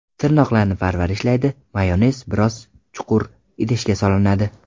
Tirnoqlarni parvarishlaydi Mayonez biroz chuqur idishga solinadi.